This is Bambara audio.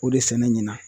O de sɛnɛ ɲinan